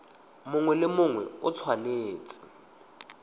mongwe le mongwe o tshwanetse